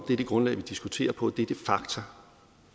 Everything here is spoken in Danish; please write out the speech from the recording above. det er det grundlag vi diskuterer på at det er de fakta